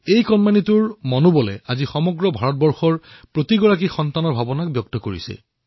সেই সন্তানৰ সাহসে আজি ভাৰতবৰ্ষৰ সৰুসৰু লৰাছোৱালীবোৰ ভাৱনাক প্ৰকট কৰি তুলিছে